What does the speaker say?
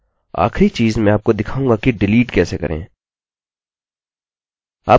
आखिरी चीज़ मैं आपको दिखाऊँगा कि डिलीट कैसे करें